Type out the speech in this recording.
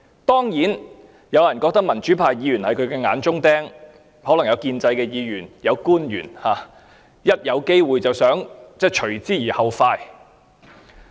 當然，有人覺得民主派議員是他的眼中釘，亦可能有建制派議員或官員伺機除之而後快。